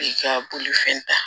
I ka bolifɛn ta